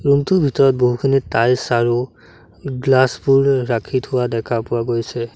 Room টোৰ ভিতৰত বহুখিনি টাইলছ আৰু গ্লাচ ৰাখি থোৱা দেখা পোৱা গৈছে।